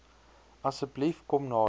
asseblief kom nader